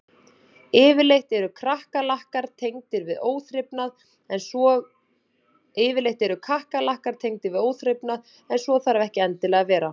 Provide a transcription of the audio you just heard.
Yfirleitt eru kakkalakkar tengdir við óþrifnað en svo þarf ekki endilega að vera.